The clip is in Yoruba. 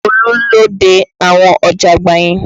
Olú ló dé àwọn ọ̀jágbàá yẹn